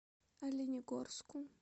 оленегорску